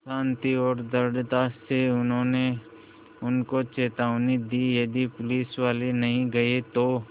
शान्ति और दृढ़ता से उन्होंने उनको चेतावनी दी यदि पुलिसवाले नहीं गए तो